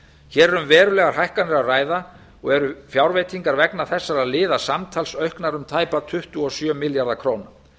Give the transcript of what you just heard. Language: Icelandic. er um verulegar hækkanir að ræða og eru fjárveitingar vegna þessara liða samtals auknar um tæpa tuttugu og sjö milljarða króna